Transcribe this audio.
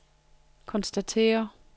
konstaterer